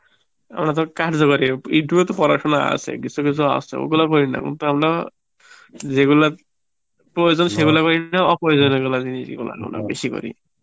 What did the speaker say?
আমরা তো কার্য করি, Youtube এ তো পড়াসনা আছে কিছু কিছু আছে, ওগুলো করি না কিন্তু আমরা যেগুলা প্রয়োজন সেগুলা করিনা অপ্রয়োজনীয় জিনিস গুলা বেশি করি